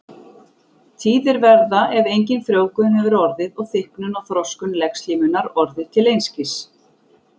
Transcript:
Tíðir verða ef engin frjóvgun hefur orðið og þykknun og þroskun legslímunnar orðið til einskis.